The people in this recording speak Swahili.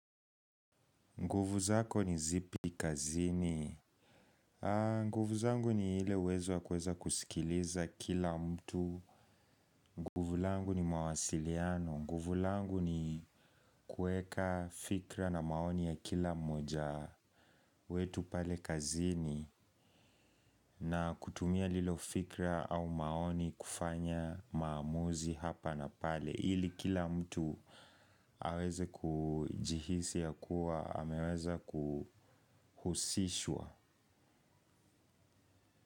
Nguvu zako ni zipi kazini. Nguvu zangu ni ile uwezo wa kueza kusikiliza kila mtu. Nguvu langu ni mawasiliano. Nguvu langu ni kueka fikra na maoni ya kila moja wetu pale kazini. Na kutumia lilo fikra au maoni kufanya maamuzi hapa na pale. Ili kila mtu aweze kujihisi ya kuwa, ameweza kuhusishwa.